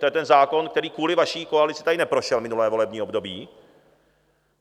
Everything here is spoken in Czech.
To je ten zákon, který kvůli vaší koalici tady neprošel minulé volební období.